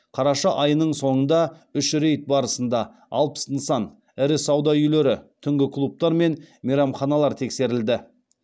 қараша айының соңында үш рейд барысында алпыс нысан ірі сауда үйлері түнгі клубтар мен мейрамханалар тексерілді